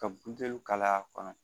Ka buteli kala a kɔnɔ